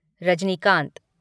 Rajinikanth